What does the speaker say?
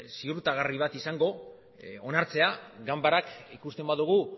ziurtagarri bat izango onartzea ganbarak ikusten badugu